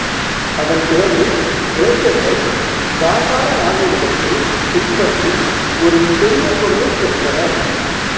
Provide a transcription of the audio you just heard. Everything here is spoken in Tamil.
அதன் பிறகு கிரேக்கர்கள் காந்தார நாகரிகத்தைப் பின்பற்றி ஒரு பெரிய புகழைப் பெற்றனர்